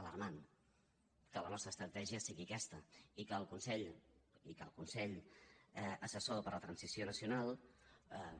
alarmant que la nostra estratègia sigui aquesta i que el consell assessor per a la transició nacional